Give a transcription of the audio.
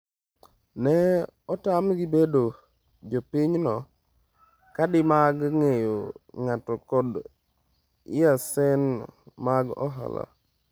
Ne otamgi bedo jopinyno, kadi mag ng’eyo ng’ato kod laisens mag ohala.